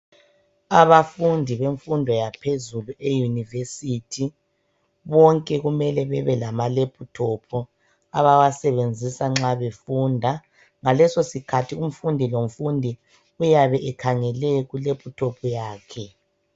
Abafundi bemfundo yaphezulu e university bonke kumele bebe lama laptop abawasebenzisa nxa befunda ngalesosikhatho umfundi lomfundi uyabe ekhangele ku laptop yakhe.